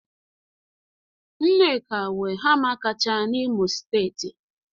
Nneka nwe hama kacha n'Imo steeti.